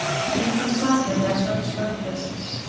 Engan sakaði að sögn slökkviliðsins